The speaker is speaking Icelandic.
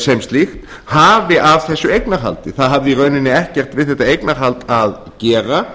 sem slíkt hafi af þessu eignarhaldi það hafði í rauninni ekkert við þetta eignarhald að gera